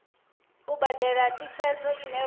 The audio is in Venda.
u badela thikhedzo ine vha